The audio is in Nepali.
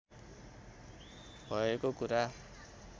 भएको कुरा